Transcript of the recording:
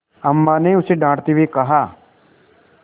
अम्मा ने उसे डाँटते हुए कहा